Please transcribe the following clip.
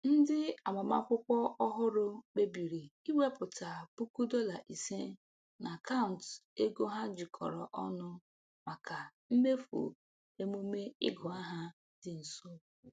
Ndị agbamakwụkwọ ọhụrụ kpebiri iwepụta puku dọla ise n’akaụntụ ego ha jikọrọ ọnụ maka mmefu emume ịgụ aha dị nso.